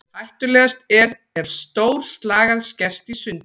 Hættulegast er ef stór slagæð skerst í sundur.